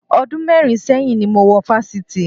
Ọdún mẹ́rin sẹ́yìn ni mo wọ Fáṣítì